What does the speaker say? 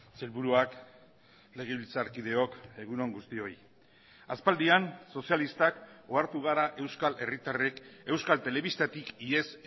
sailburuak legebiltzarkideok egun on guztioi aspaldian sozialistak ohartu gara euskal herritarrek euskal telebistatik ihes